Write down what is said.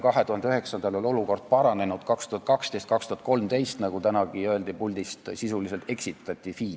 2009. aastal oli olukord paranenud, 2012. ja 2013. aastal, nagu tänagi puldist öeldi, sisuliselt eksitati Finantsinspektsiooni.